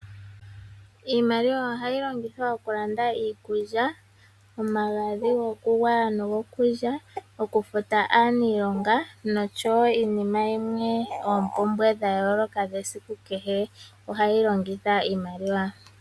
Iimaliwa ohayi longithwa oku landa iikulya omagadhi goku lya nosho woo goku gwaya, oku futa aanilonga noshowo oompumbwe odhindji dha yooloka dha kehe esiku. Ohayi longitha iimaliwa